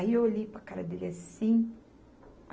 Aí eu olhei para a cara dele assim.